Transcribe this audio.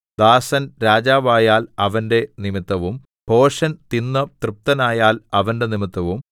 ദാസൻ രാജാവായാൽ അവന്റെ നിമിത്തവും ഭോഷൻ തിന്ന് തൃപ്തനായാൽ അവന്റെ നിമിത്തവും